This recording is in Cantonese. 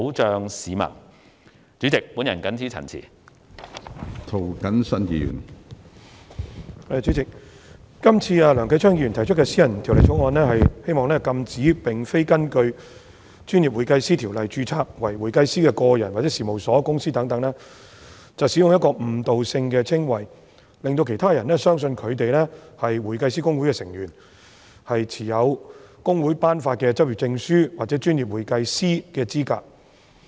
主席，梁繼昌議員提出的私人條例草案《2018年專業會計師條例草案》旨在禁止並非根據《專業會計師條例》註冊為會計師的個人、事務所或公司等使用具誤導性的稱謂，令到其他人相信他們是香港會計師公會成員，持有公會頒發的執業證書或專業會計師的資格。